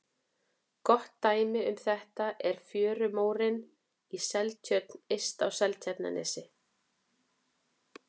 Gott dæmi um þetta er fjörumórinn í Seltjörn yst á Seltjarnarnesi.